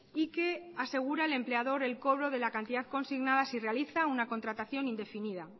y que asegura al empleador el cobro de la cantidad consignada si realiza una contratación indefinida